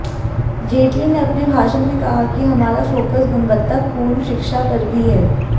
जेटली ने अपने भाषण में कहा कि हमारा फोकस गुणवत्ता पूर्ण शिक्षा पर भी है